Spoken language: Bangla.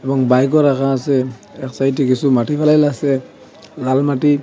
এবং বাইক -ও রাখা আসে এক সাইড -এ কিছু মাটি ফেলাইল আসে লাল মাটি।